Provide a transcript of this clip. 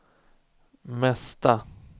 mesta